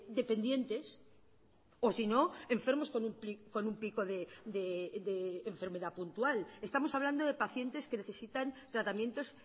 dependientes o si no enfermos con un pico de enfermedad puntual estamos hablando de pacientes que necesitan tratamientos